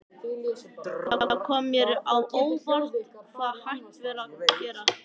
Það kom mér á óvart hvað hægt var að gera.